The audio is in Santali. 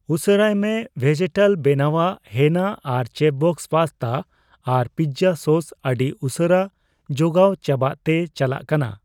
ᱩᱥᱟᱹᱨᱟᱭ ᱢᱮ, ᱵᱷᱮᱡᱮᱴᱟᱞ ᱵᱮᱱᱟᱣᱟᱜ ᱦᱮᱱᱟ ᱟᱨ ᱪᱮᱯᱷᱵᱚᱥᱥ ᱯᱟᱥᱛᱟ ᱟᱨ ᱯᱤᱡᱡᱟ ᱥᱚᱥ ᱟᱹᱰᱤ ᱩᱥᱟᱹᱨᱟ ᱡᱚᱜᱟᱣ ᱪᱟᱵᱟᱜ ᱛᱮ ᱪᱟᱞᱟᱜ ᱠᱟᱱᱟ ᱾